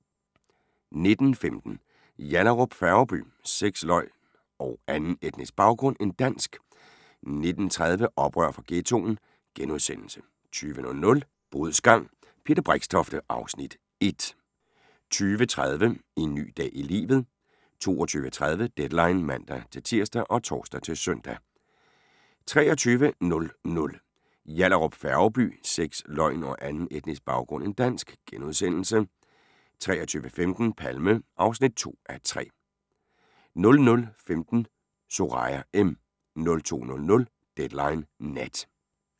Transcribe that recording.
19:15: Yallahrup Færgeby: Sex, løgn og anden etnisk baggrund end dansk 19:30: Oprør fra Ghettoen * 20:00: Bodsgang – Peter Brixtofte (Afs. 1) 20:30: En ny dag i livet 22:30: Deadline (man-tir og tor-søn) 23:00: Yallahrup Færgeby: Sex, løgn og anden etnisk baggrund end dansk * 23:15: Palme (2:3) 00:15: Soraya M. 02:00: Deadline Nat